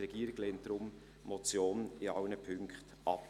Die Regierung lehnt die Motion deshalb in allen Punkten ab.